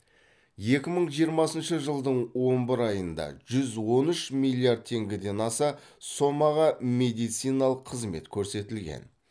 екі мың жиырмасыншы жылдың он бір айында жүз он үш миллиард теңгеден аса сомаға медициналық қызмет көрсетілген